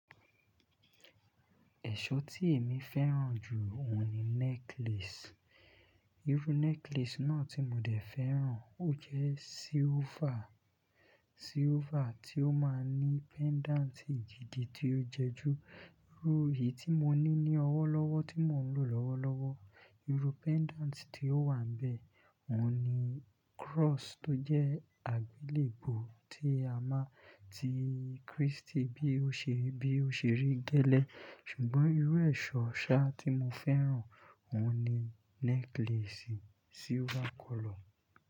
Ẹ̀ṣọ́ tí èmi fẹ́ràn jù ọ̀hún ni necklace. Irú necklace náà tí mo dẹ̀ fẹ́ràn, ó jẹ́ silver, silver tí ó máa ní pendant gidi tí ó jẹ jú Irú èyí tí mo ní ní ọwọ́ lọ́wọ́ tí mò ń lò lọ́wọ́lọ́wọ́. Irú pendant tí ó wà níbẹ̀, òhun ni cross tó jẹ́ àgbélébùú tí a mọ̀, tí Kristi bí ó ṣe rí gẹ́lẹ́. Ṣùgbọ́n irú ẹ̀ṣọ́ ṣá tí mo fẹ́ràn, òhun ni necklace silver color.